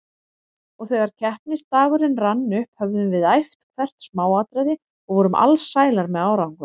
Og þegar keppnisdagurinn rann upp höfðum við æft hvert smáatriði og vorum alsælar með árangurinn.